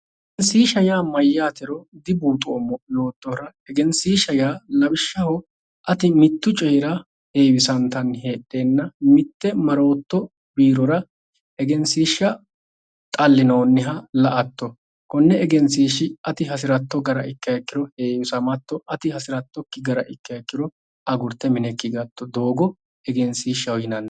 Egenshishsha yaa mayaatero dibuuxoommo yoottohura egenshishsha yaa ati mitu coyira heewisattani heedhenna mite marotto biirora egensishsha xalinoniha la"atto koni egenshishshi ati hasirotto gede ikkiha ikkoro heewisamatto ati hasirattokkiha gara ikkiro agurte minekki higatto doogo egenshishshaho yinnanni.